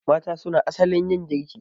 Mata suna asalin yin girki